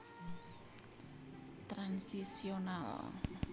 Transitional